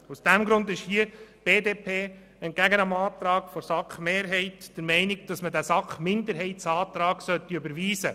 Aus diesem Grund ist die BDP entgegen dem Antrag der SAK-Mehrheit der Meinung, die Planungserklärung der SAK-Minderheit sei zu überwiesen.